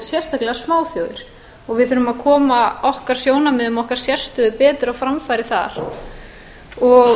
sérstaklega smáþjóðir við þurfum að koma okkar sjónarmiðum okkar sérstöðu betur á framfæri þar og